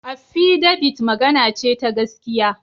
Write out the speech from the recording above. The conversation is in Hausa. Affidabit magana ce ta gaskiya.